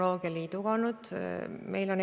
Kokku saab eelarve olema 1,2 miljonit.